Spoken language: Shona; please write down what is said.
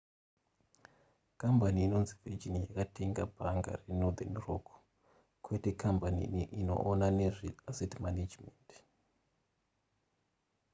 kambani inonzi virgin yakatenga bhanga renorthen rock kwete kambani inoona nezveasset management